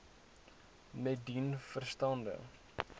met dien verstande